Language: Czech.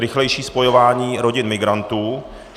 Rychlejší spojování rodin migrantů.